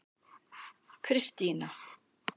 Kristína